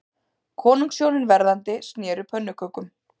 Konungshjónin verðandi sneru pönnukökum